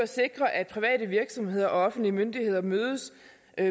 sikre at private virksomheder og offentlige myndigheder mødes